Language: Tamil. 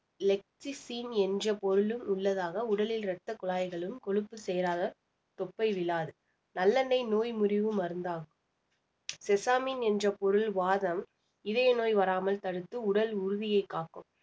என்ற பொருளும் உள்ளதாக உடலில் ரத்த குழாய்களும் கொழுப்பு சேராத தொப்பை விழாது நல்லெண்ணெய் நோய் முறிவு மருந்தாகும் sesamin என்ற பொருள் வாதம், இதய நோய் வராமல் தடுத்து உடல் உறுதியை காக்கும்